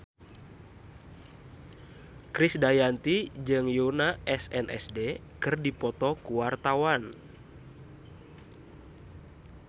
Krisdayanti jeung Yoona SNSD keur dipoto ku wartawan